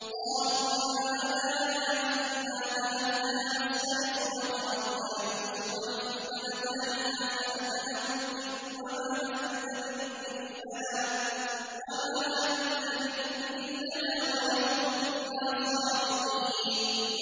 قَالُوا يَا أَبَانَا إِنَّا ذَهَبْنَا نَسْتَبِقُ وَتَرَكْنَا يُوسُفَ عِندَ مَتَاعِنَا فَأَكَلَهُ الذِّئْبُ ۖ وَمَا أَنتَ بِمُؤْمِنٍ لَّنَا وَلَوْ كُنَّا صَادِقِينَ